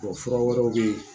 fura wɛrɛw bɛ yen